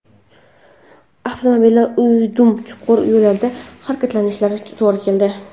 Avtomobilda o‘ydim-chuqur yo‘llardan harakatlanishimizga to‘g‘ri keldi.